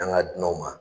An ka dunanw na